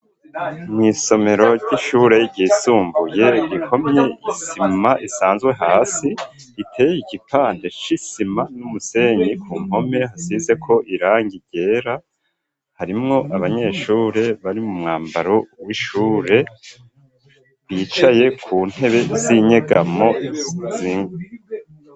Mw'isomero ry'ishure ryisumbuye ikomye isima isanzwe hasi ,iteye igipande c'isima n'umusenyi, ku npome hasizeko irangi ryera, harimwo abanyeshure bari mu mwambaro w'ishure bicaye ku ntebe z'inyegamo zinga